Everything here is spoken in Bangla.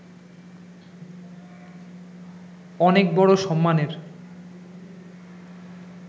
অনেক বড় সম্মানের